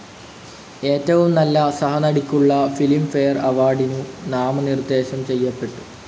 ഏറ്റവും നല്ല സഹനടിക്കുള്ള ഫിലിം ഫെയർ അവാർഡിനു നാമനിർദ്ദേശം ചെയ്യപ്പെട്ടു.